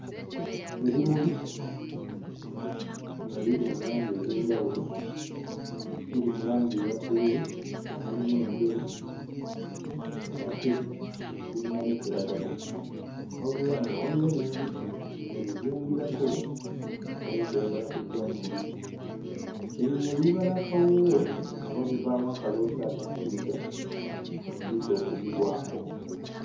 Ebimuli nga biri mu langi ez'enjawulo biri mu langi eya bbululu nga mulimu enjeru ng'ate birina ne kiragala wabula nga waliwo n'enjuki ebizungirako erabika eyagala kuggyamu mubisi. Ebimuli biba n'akawoowo oba bivaamu akaloosa akasikiriza enjuki okubigwako.